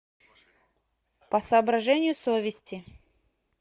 по соображению совести